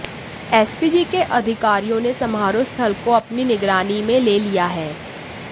SPG के अधिकारियों ने समारोह स्थल को अपनी निगरानी में ले लिया है